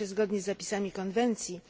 Po pierwsze, zgodnie z zapisami konwencji